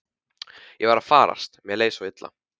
Ég var að farast, mér leið svo illa.